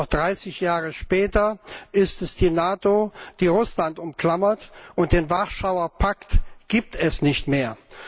Doch dreißig Jahre später ist es die NATO, die Russland umklammert, und den Warschauer Pakt gibt es nicht mehr.